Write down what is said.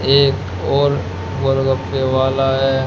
एक और गोलगप्पे वाला है।